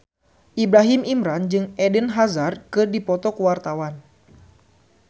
Ibrahim Imran jeung Eden Hazard keur dipoto ku wartawan